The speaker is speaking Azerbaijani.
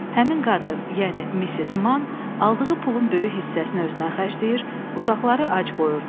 Həmin qadın, yəni Missis Man, aldığı pulun böyük hissəsini özünə xərcləyir, uşaqları ac qoyurdu.